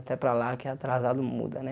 Até para lá, que é atrasado, muda, né?